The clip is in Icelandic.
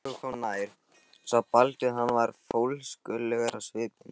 Þegar drengurinn kom nær sá Baldvin að hann var fólskulegur á svipinn.